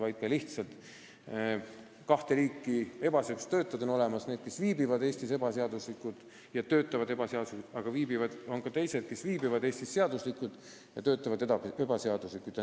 On olemas kahte liiki ebaseaduslikke töötajaid: need, kes viibivad Eestis ebaseaduslikult ja töötavad ebaseaduslikult, ning teised, kes viibivad Eestis seaduslikult, aga töötavad ebaseaduslikult.